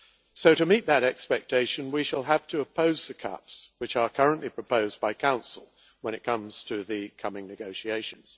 So, to meet that expectation, we shall have to oppose the cuts which are currently proposed by Council when it comes to the coming negotiations.